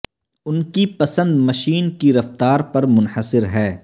ان کی پسند مشین کی رفتار پر منحصر ہے